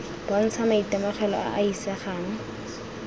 bontsha maitemogelo a a isegang